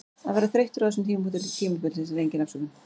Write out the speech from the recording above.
Að vera þreyttur á þessum tímapunkti tímabilsins er engin afsökun.